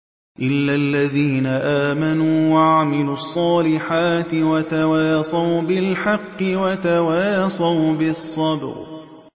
إِلَّا الَّذِينَ آمَنُوا وَعَمِلُوا الصَّالِحَاتِ وَتَوَاصَوْا بِالْحَقِّ وَتَوَاصَوْا بِالصَّبْرِ